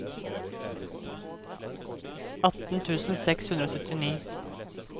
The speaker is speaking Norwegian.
atten tusen seks hundre og syttini